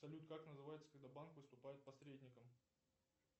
салют как называется когда банк выступает посредником